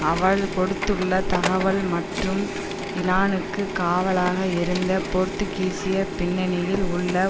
அவள் கொடுத்துள்ள தகவல் மற்றும் இலானுக்கு காவலாக இருந்த போர்த்துக்கீசிய பின்னணியில் உள்ள